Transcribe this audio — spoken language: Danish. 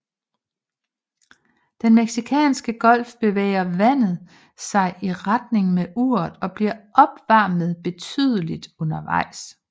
I Den Mexicanske Golf bevæger vandet sig i retning med uret og bliver opvarmet betydeligt undervejs